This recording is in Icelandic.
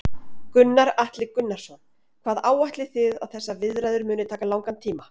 Gunnar Atli Gunnarsson: Hvað áætlið þið að þessar viðræður muni taka langan tíma?